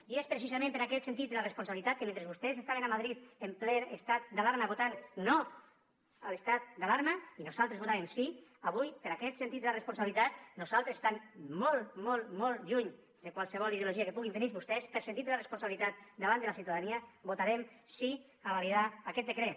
i és precisament per aquest sentit de la responsabilitat que mentre vostès estaven a madrid en ple estat d’alarma votant no a l’estat d’alarma i nosaltres votàvem sí avui per aquest sentit de la responsabilitat nosaltres estant molt molt molt lluny de qualsevol ideologia que puguin tenir vostès per sentit de la responsabilitat davant de la ciutadania votarem sí a validar aquest decret